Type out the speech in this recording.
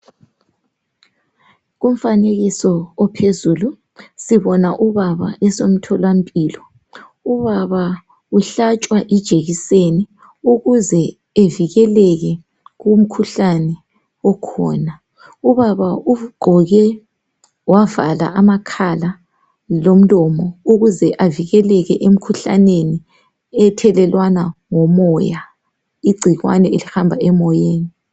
Kumfanekiso ophezulu sibona ubaba esemtholampilo .Ubaba uhlatshwa ijekiseni ukuze evikeleke kumkhuhlane okhona .Ubaba ugqoke wavala amakhala lomlomo ukuze avikeleke ethelelwana ngo moya. Igcikwane elihamba emoyeni.